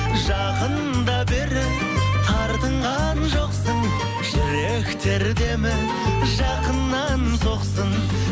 жақында бері тартынған жоқсың жүректер демі жақыннан соқсын